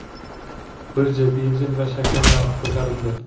Birja: benzin va shakar narxi ko‘tarildi.